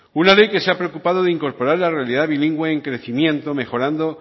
una ley que se ha preocupada de incorporar la realidad bilingüe en crecimiento mejorando